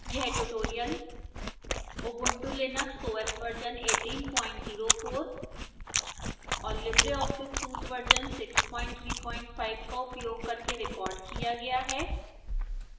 यह tutorial ubuntu linux os version 1804 और libreoffice suite version 635 का उपयोग करके recorded किया गया है